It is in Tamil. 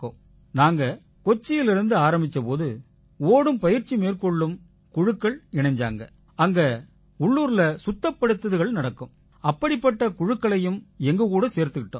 நாங்க கொச்சியிலிருந்து ஆரம்பிச்ச போது ஓடும் பயிற்சி மேற்கொள்ளும் குழுக்கள் இணைஞ்சாங்க அங்க உள்ளூர்ல சுத்தப்படுத்தல்கள் நடக்கும் அப்படிப்பட்ட குழுக்களையும் எங்க கூட சேர்த்துக்கிட்டோம்